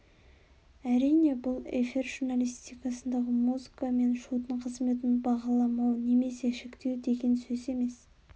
әрине бұл эфир журналистикасындағы музыка мен шудың қызметін бағаламау немесе шектеу деген сөз емес